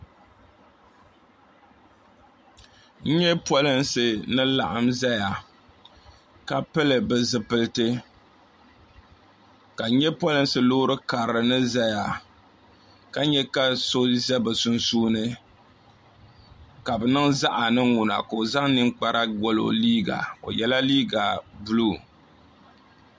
n nyɛ polinsi ni laɣam ʒɛya ka pili bi zipiliti ka n nyɛ polinsi loori karili ni ʒɛya ka nyɛ ka so ʒɛ bi sunsuuni ka bi niŋ zaɣ ni ŋuna ka o zaŋ ninkpara goli o liiga o yɛla liiga buluu